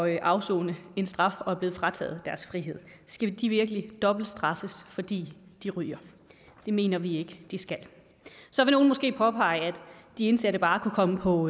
at afsone en straf og er blevet frataget deres frihed skal de virkelig dobbeltstraffes fordi de ryger det mener vi ikke de skal så vil nogle måske påpege at de indsatte bare kunne komme på